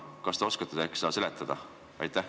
Kas te oskate äkki seda seletada?